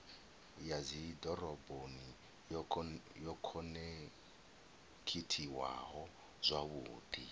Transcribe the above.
ya dzidoroboni yo khonekhithiwaho zwavhudi